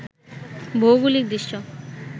ভৌগোলিক দৃশ্য